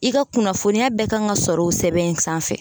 I ka kunnafoniya bɛɛ kan ka sɔrɔ o sɛbɛn in sanfɛ.